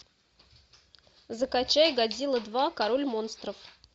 закачай годзилла два король монстров